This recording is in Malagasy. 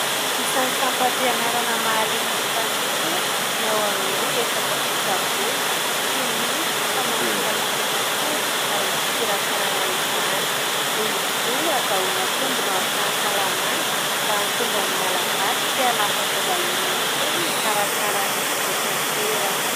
Isan'ny sampam-pianarana mahaliana ny tanora ny ao amin'ny resaka fitsaboana sy ny famarotana fanafody ary ny fikirakirana izany, noho izy io azahoana tombony ho an'ny fahasalamana, mba hahatonga ny malagasy tsy hanafatra vahiny intsony ikarakara ny eto an-toerana.